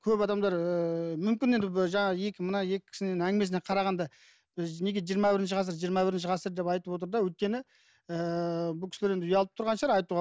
көп адамдар ііі мүмкін енді мына жаңа екі мына екі кісінің әңгімесіне қарағанда біз неге жиырма бірінші ғасыр жиырма бірінші ғасыр деп айтып отыр да өйткені ыыы бұл кісілер енді ұялып тұрған шығар айтуға